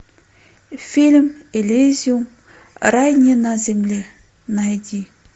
фильм элизиум рай не на земле найди